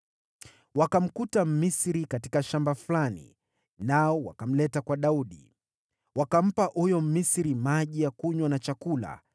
Wakamkuta Mmisri katika shamba fulani, nao wakamleta kwa Daudi. Wakampa huyo Mmisri maji ya kunywa na chakula;